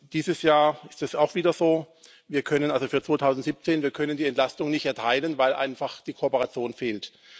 Dieses Jahr ist es auch wieder so Wir können für 2017 die Entlastung nicht erteilen, weil einfach die Kooperation fehlt.